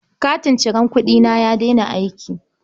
Katin cirar kuɗina ya daina aiki.